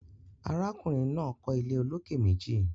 Arákùnrin náà kọ́ ilé olókè meji